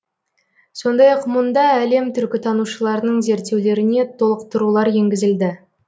сондай ақ мұнда әлем түркітанушыларының зерттеулеріне толықтырулар енгізілді